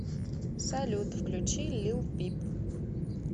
салют включи лил пип